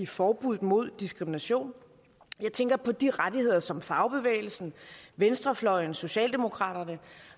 forbuddet mod diskrimination jeg tænker på de rettigheder som fagbevægelsen venstrefløjen socialdemokraterne